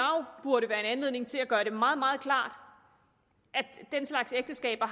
burde være en anledning til at gøre det meget meget klart at den slags ægteskaber